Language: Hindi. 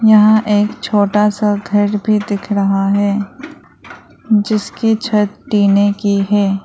यहां एक छोटा सा घर भी दिख रहा है जिसकी छत टीने की है।